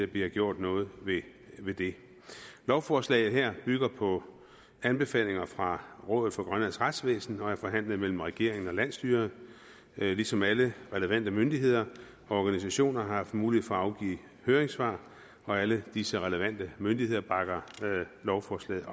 bliver gjort noget ved det lovforslaget her bygger på anbefalinger fra rådet for grønlands retsvæsen og er forhandlet mellem regeringen og landsstyret ligesom alle relevante myndigheder og organisationer har haft mulighed for at afgive høringssvar alle disse relevante myndigheder bakker lovforslaget